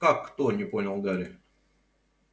как кто не понял гарри